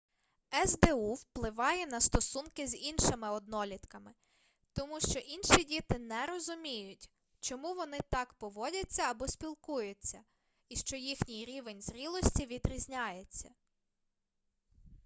сду впливає на стосунки з іншими однолітками тому що інші діти не розуміють чому вони так поводяться або спілкуються і що їхній рівень зрілості відрізняється